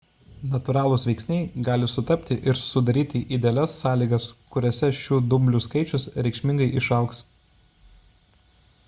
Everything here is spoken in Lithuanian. natūralūs veiksniai gali sutapti ir sudaryti idealias sąlygas kuriose šių dumblių skaičius reikšmingai išaugs